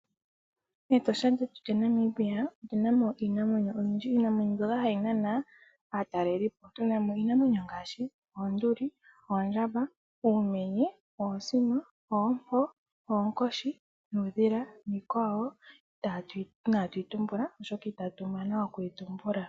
Etosha lyetu lyaNamibia otuna mo iinamwenyo oyindji. Iinamwenyo mbyoka hayi nana aatalelipo. Tuna mo iinamwenyo ngaashi: oonduli, oondjamba, uumenye, oosino, oompo, oonkoshi nuudhila. Niikwawo oyindji inaatu yi tumbula oshoka itatu mana okuyi tumbula.